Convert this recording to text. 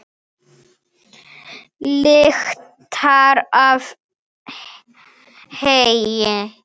Lyktar af heyi.